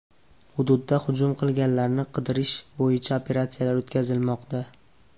Hududda hujum qilganlarni qidirish bo‘yicha operatsiyalar o‘tkazilmoqda.